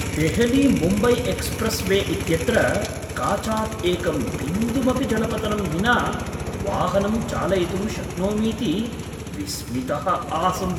Delhi Mumbai expressway इत्यत्र काचात् एकं बिन्दुमपि जलपतनं विना वाहनं चालयितुं शक्नोमीति विस्मितः आसम्।